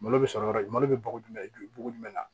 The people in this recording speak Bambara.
Malo bɛ sɔrɔ yɔrɔ malo bɛ bogo jumɛn bugunna